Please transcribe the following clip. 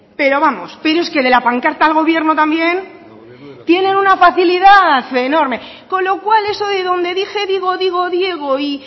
pero vamos pero es que de la pancarta al gobierno también tienen una facilidad enorme con lo cual eso de donde dije digo digo diego y